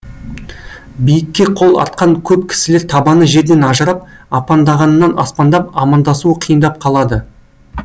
биікке қол артқан көп кісілер табаны жерден ажырап апандағаннан аспандап амандасуы қиындап қалады